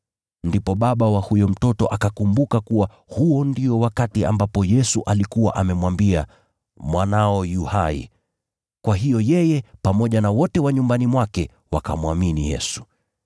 Ndipo baba wa huyo mtoto akakumbuka kuwa huo ndio wakati ambapo Yesu alikuwa amemwambia, “Mwanao yu hai.” Kwa hiyo yeye pamoja na wote wa nyumbani mwake wakamwamini Yesu.